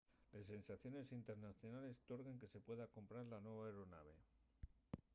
les sanciones internacionales torguen que se pueda comprar la nueva aeronave